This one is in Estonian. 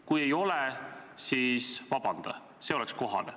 Kui ei ole, siis palu vabandust, see oleks kohane.